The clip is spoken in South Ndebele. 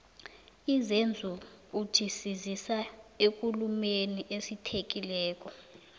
izenzukuthi sizisa ekulumeni esithekileko